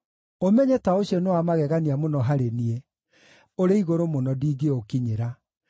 Ũmenyo ta ũcio nĩ wa magegania mũno harĩ niĩ, ũrĩ igũrũ mũno ndingĩũkinyĩra.